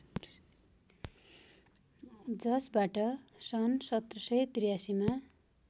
जसबाट सन् १७८३ मा